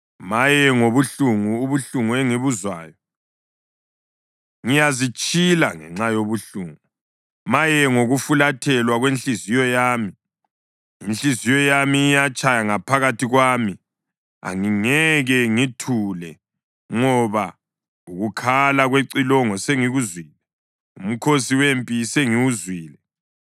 Maye, ngobuhlungu, ubuhlungu engibuzwayo. Ngiyazitshila ngenxa yobuhlungu. Maye, ngokufuthelwa kwenhliziyo yami! Inhliziyo yami iyatshaya ngaphakathi kwami, angingeke ngithule, ngoba ukukhala kwecilongo sengikuzwile, umkhosi wempi sengiwuzwile.